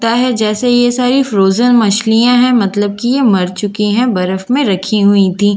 ता है जैसे ये सारी फ्रॉजेन मछलियां हैं मतलब कि ये मर चुकी हैं बर्फ में रखी हुई थीं।